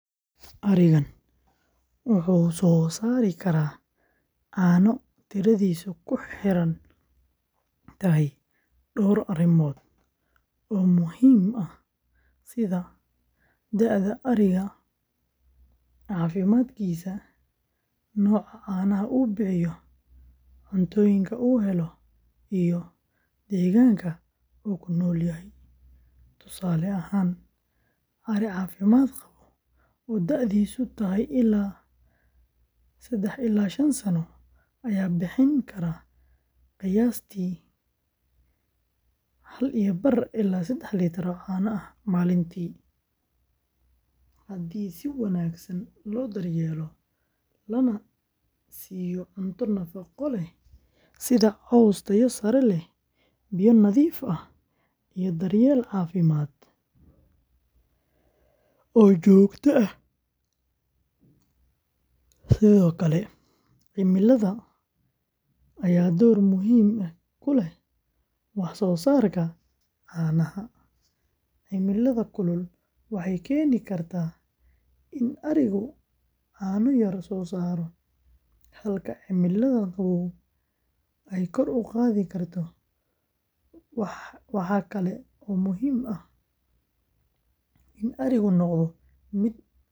Ariga wuxuu soo saari karaa caano tiradiisu ku xiran tahay dhowr arrimood oo muhiim ah, sida da'da ariga, caafimaadkiisa, nooca caanaha uu bixiyo, cuntooyinka uu helo, iyo deegaanka uu ku nool yahay. Tusaale ahaan, ari caafimaad qaba oo da’diisu tahay, haddii si wanaagsan loo daryeelo lana siiyo cunto nafaqo leh sida caws tayo sare leh, biyo nadiif ah, iyo daryeel caafimaad oo joogto ah. Sidoo kale, cimilada ayaa door weyn ku leh wax soo saarka caanaha; cimilada kulul waxay keeni kartaa in arigu caano yar soo saaro, halka cimilada qabow ay kor u qaadi karto. Waxa kale oo muhiim ah in arigu noqdo mid hurda.